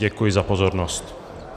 Děkuji za pozornost.